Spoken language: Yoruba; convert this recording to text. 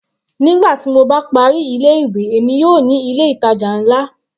Nígbà tí mo bá parí ilé ìwé, èmi yóò ní ilé ìtàjà nlá.